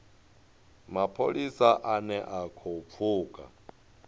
mapholisa ane a khou pfuka